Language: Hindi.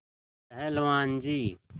पहलवान जी